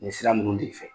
Nin sira ninnu de fɛ